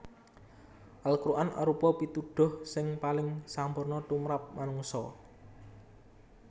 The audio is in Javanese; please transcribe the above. Al Quran arupa pituduh sing paling sampurna tumrap manungsa